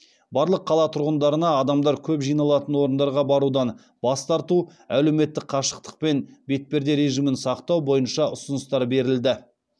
барлық қала тұрғындарына адамдар көп жиналатын орындарға барудан бас тарту әлеуметтік қашықтық пен бетперде режимін сақтау бойынша ұсыныстар берілді